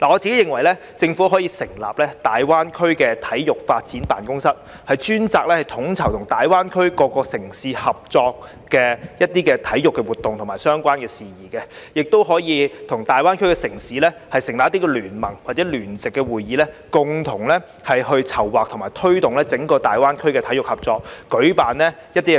我認為，政府可成立大灣區體育發展辦公室，專責統籌與大灣區及各城市合作舉辦體育活動的相關事宜，亦可與大灣區城市成立聯盟或聯席會議，共同籌劃及推動整個大灣區體育合作，舉辦